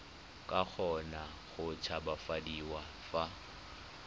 ka kgona go tshabafadiwa fa